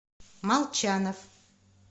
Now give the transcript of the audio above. молчанов